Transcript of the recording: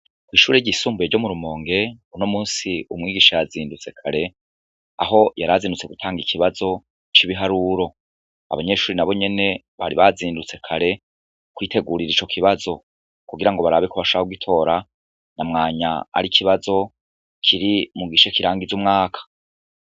Ishure ryisumbuye ryo mu Rumonge, uno munsi umwigisha yazindutse kare, aho yarazindutse gutanga ikibazo c'ibiharuro. Abanyeshure nabonyene baribazindutse kare kwitegurira ico kibazo kugirango barabe ko bashobora kugitora, na mwanya arikibazo, kiri mu gice kirangiza umwaka.